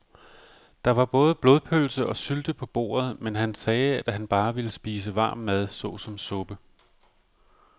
Der var både blodpølse og sylte på bordet, men han sagde, at han bare ville spise varm mad såsom suppe.